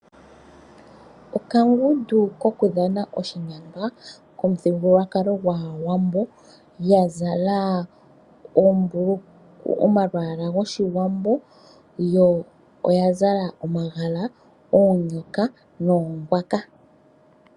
Okangundu koku dhana oshimaliwa komuthigululwakalo gwAawambo yazala omalwaala gOshiwambo yo oyazala omagala, oonyoka noongwaka.